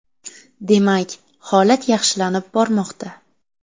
Demak, holat yaxshilanib bormoqda.